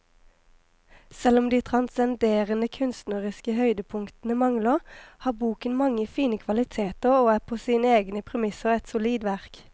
Selv om de transcenderende kunstneriske høydepunktene mangler, har boken mange fine kvaliteter og er på sine egne premisser et solid verk.